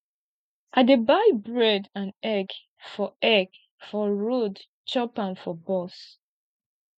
i dey buy bread and egg for egg for road chop am for bus